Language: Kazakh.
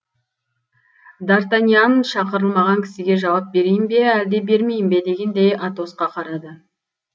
дартаньян шақырылмаған кісіге жауап берейін бе әлде бермейін бе дегендей атосқа қарады